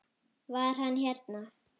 Var hann hérna?